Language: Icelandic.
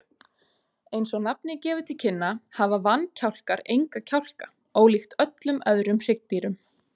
Eins og nafnið gefur til kynna hafa vankjálkar enga kjálka, ólíkt öllum öðrum hryggdýrum.